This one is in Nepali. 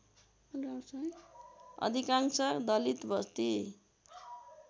अधिकांश दलित वस्ती